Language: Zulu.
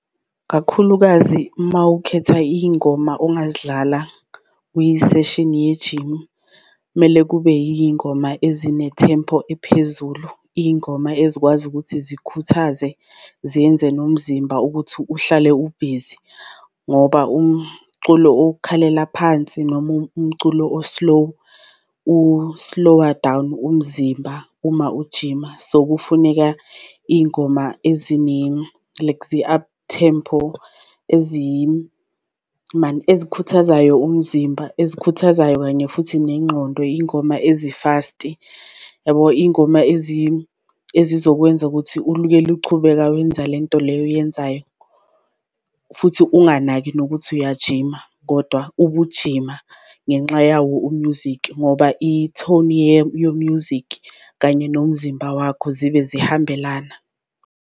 Kakhulukazi uma ukhetha iyingoma ongazidlala kwi-session yejimu kumele kube yiyingoma ezinethempo ephezulu, iyingoma ezikwazi ukuthi zikhuthaze zenze nomzimba ukuthi uhlale ubhizi ukuthi ngoba umculo okhalela phansi noma umculo o-slow u-slower down umzimba uma ujima. So kufuneka iyingoma ezine-lexiup tempo ezikhuthazayo umzimba, ezikhuthazayo kanye futhi nengqondo, iy'ngoma ezi-fast-i yabo, iy'ngoma ezizokwenza ukuthi ulukele uchubeka wenza lento leyo oyenzayo. Futhi unganaki nokuthi uyajima kodwa ubugijima ngenxa yawo u-music ngoba i-tone yo-music kanye nomzimba wakho zibe zihambelana.